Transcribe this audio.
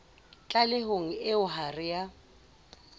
tlalehong eo ha re a